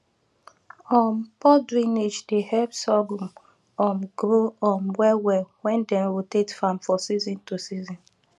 um poor drainage dey help sorghum um grow um well well when dem rotate farm for season to season